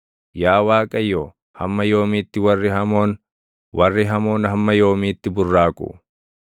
Yaa Waaqayyo, hamma yoomiitti warri hamoon, warri hamoon hamma yoomiitti burraaqu?